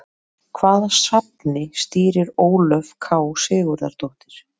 Hvaða safni stýrir Ólöf K Sigurðardóttir?